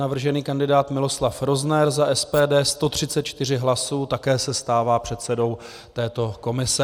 Navržený kandidát Miloslav Rozner za SPD - 134 hlasů, také se stává předsedou této komise.